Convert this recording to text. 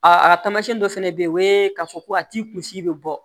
A tamasiyɛn dɔ fana bɛ yen o ye k'a fɔ ko a t'i kunsi bɛ bɔ